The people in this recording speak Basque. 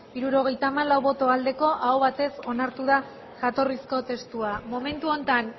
hirurogeita hamalau bai aho batez onartu da jatorrizko testua momentu honetan